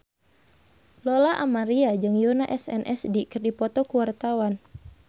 Lola Amaria jeung Yoona SNSD keur dipoto ku wartawan